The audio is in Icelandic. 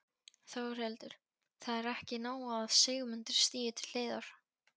Þórhildur: Það er ekki nóg að Sigmundur stígi til hliðar?